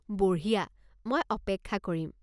বঢ়িয়া, মই অপেক্ষা কৰিম।